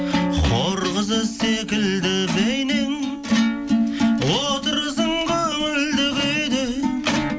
хор қызы секілді бейнең отырсың көңілді күйде